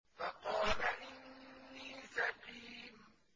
فَقَالَ إِنِّي سَقِيمٌ